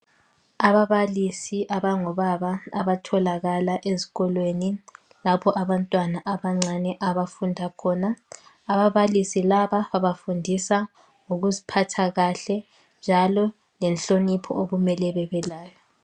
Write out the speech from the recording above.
Ababalisi abangobaba abatholakala ezikolweni lapho abantwana abancane abafunda khona . Ababalisi laba bafundisa ngokuziphatha kahle njalo lenhlonipho okumele bebelayo.